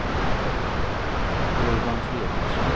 Urban Fredriksson